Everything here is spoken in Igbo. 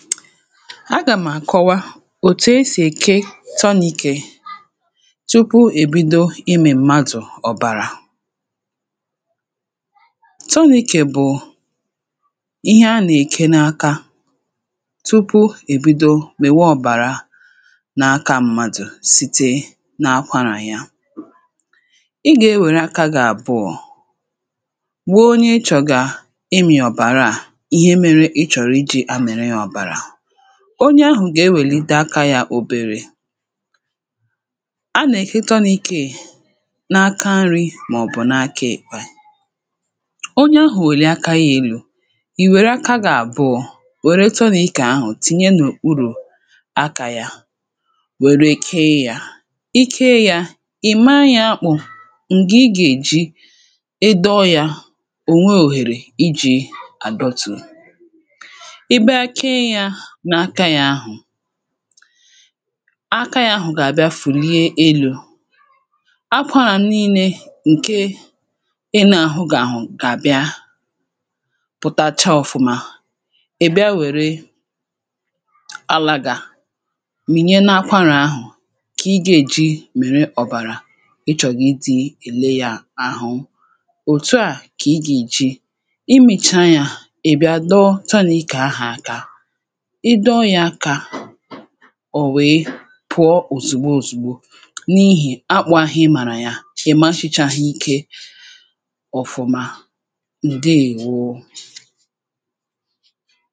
agà m̀ àkọwa òtù esì èke tọni̇kè tupu èbido imė mmadụ̀ ọ̀bàrà tọni̇kè bụ̀ ihe anà èke n’aka tupu èbido mèwe ọ̀bàra na aka mmadụ̀ site nà akwarà yȧ ị gà-ewère aka gà àbụọ̇ gbuo onye chọ̀gà imì ọ̀bàra à ihe mere ịchọ̀rọ̀ iji̇ onye ahụ̀ ga-ewèlite aka yȧ òbèrè a nà-èkịtọ n’ikė n’aka nri̇ màọ̀bụ̀ n’aka èkwà onye ahụ̀ òli aka yȧ elu̇ ì wère aka gà-àbụọ wère tọnị̇ kà ahụ̀ tìnye n’okpuru̇ aka yȧ wère kee yȧ ike yȧ ì maa yȧ akpụ̇ ǹgị ị gà-èji ịdọ yȧ ò nweè òhèrè iji̇ adọtụ̀ akȧ ya ahụ̀ gà-àbịa fùrie elu̇ akwarà nii̇nė ǹke ị nȧ-àhụ gà-àhụ gà-àbịa pụ̀tacha ọ̀fụma èbịa wère alà gà mìnye nȧ-akwarà ahụ̀ kà ị gȧ-èji mèrè ọ̀bàrà ị chọ̀gà ịdị̇ èle yȧ ahụ òtu à kà ị gà-èji imìcha yȧ èbịa dọwanù ị kà ahụ̀ aka ọ̀ wèe pụọ òzìgbo òzìgbo n’ihì akpụ̇ ahụ̀ ị màrà ya ị̀ masịchà hà ike ọ̀fụ̀ma ǹdeèwo